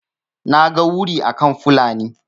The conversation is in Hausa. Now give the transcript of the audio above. naga wuri akan Fulani